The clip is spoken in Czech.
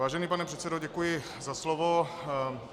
Vážený pane předsedo, děkuji za slovo.